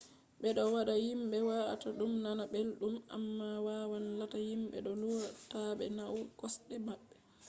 ɓe ɗo waɗa himɓe wa’ata ɗum nana belɗum amma wawan latta himɓe ɗo hula taaɓe nauna kosɗe maɓɓe